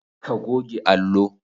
ka goge Allo